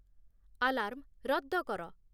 Alarm ରଦ୍ଦ କର।